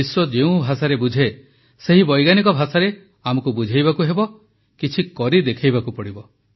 ବିଶ୍ୱ ଯେଉଁ ଭାଷାରେ ବୁଝେ ସେହି ବୈଜ୍ଞାନିକ ଭାଷାରେ ଆମକୁ ବୁଝାଇବାକୁ ହେବ କିଛିକରି ଦେଖାଇବାକୁ ପଡ଼ିବ